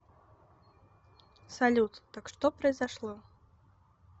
салют так что произошло